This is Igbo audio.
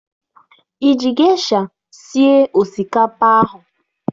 Ị ji gesha sie osikapa ahụ?